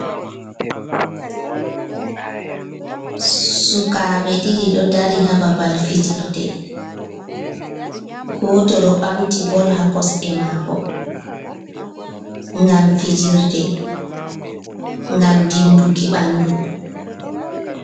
Sukaabe ɗiɗi ɗo dari ha babal fijirde, gooto ɗo ɓamti bol ha kosɗe maako ngam fijirde ngam dimbuki ɓandu.